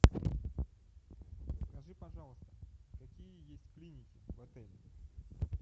скажи пожалуйста какие есть клиники в отеле